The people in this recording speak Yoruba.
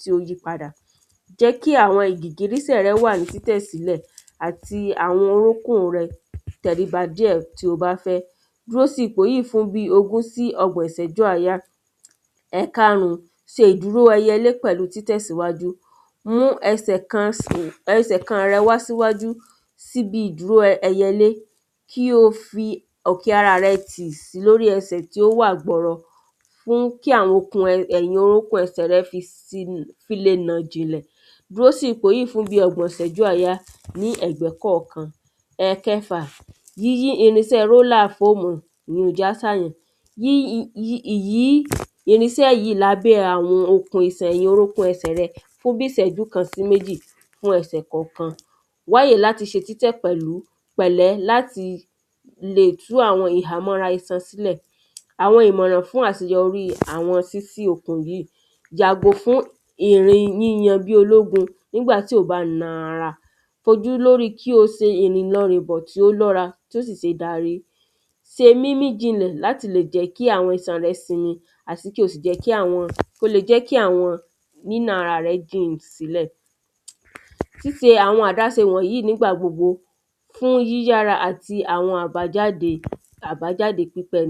tí ó yí padà jẹ́ kí àwọn gìgísẹ̀ rẹ wà ní títẹ̀sílẹ̀ àti àwọn orúnkún rẹ tẹríba díẹ̀ tí o bá fẹ́ dúró sí ipò yìí bí ogùn sí ọgbọ̀n ìsẹ́jú àáyá ẹ̀karùn ṣe ìdíró ẹyẹlé pẹ̀lú títẹ̀ síwájú mú ẹsẹ̀ kan rẹ sí wájú síbi ìdúró ẹyẹlé kí o fi ọ̀kẹ́ ara rẹ tì tì lórí ẹsẹ̀ rẹ tí ó wà gbọrọ mú kí àwọn okun ẹ̀yìn orúkún ẹsẹ̀ rẹ tì fi le mọ̀ jìnlẹ̀ dúró sí ipọ̀ yìí fún bí ọgbọ̀n ìsẹ́jú àáyá ní ẹ̀gbẹ́ kọ̀kan. Ẹ̀kẹfà yíyí irin rólà fóòmù yí já yí ìyí irinsẹ́ yìí lábẹ́ àwọn ìlókun rẹ fún bí ìsẹ́jú kan sí méjì fún ẹsẹ̀ kọ̀kan wáyè láti se títẹ̀ pẹ̀lú pẹ̀lẹ́ láti lè tú àwọn ìhámọ́ra isan sílẹ̀ àwọn ìmọ̀ràn fún àseyọrí sísí okùn yìí yàgò fún ìrìn yíyan bí ológun nígbà tí ò bá ń na ara kojú lórí kí o se rìn lọ rìnbọ̀ tí ó dára tí ó sì sé darí se mímí jinlẹ̀ láti lè jẹ́ kí àwọn isan rẹ sinmi àti kí o sì jẹ́ kí àwọn jẹ́ kí àwọn nínà ara jìn sílẹ̀ síse àwọn àdáse wọ̀nyìí nígbà gbogbo fún yíyá ara àti àwọn àbájáde àbájáde pípẹ.